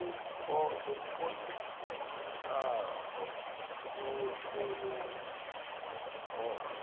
nokuqondisa inkambo yohlelomgomo